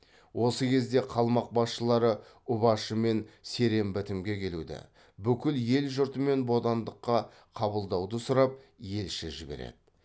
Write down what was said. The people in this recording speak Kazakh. осы кезде қалмақ басшылары ұбашы мен серен бітімге келуді бүкіл ел жұртымен бодандыққа қабылдауды сұрап елші жібереді